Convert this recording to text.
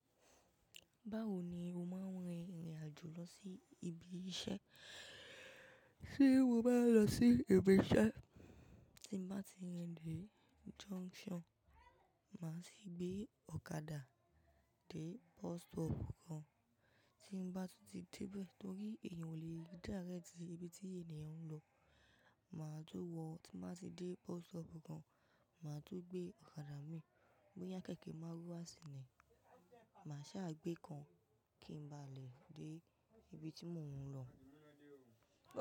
Báwo ni o máa ń rin ìrìn àjò lọ sí ibi iṣẹ́? Tí mo bá lọ sí ibi iṣẹ́, tí bá ti yan dé junction, màá sì gbé ọ̀kadà dé bus stop kan. Tí mo bá ti dé bẹ́ẹ̀, torí èèyàn ò lè rí direct tí ibi tí ènìyàn ń lọ, màá tun wọ̀, tí bá ti dé bus stop kan, màá tún gbé ọ̀kadà mi, boyá kéékèèké máruwa ṣínì, màá ṣá gbé kan kí n ba lè dé ibi tí mò ń lọ.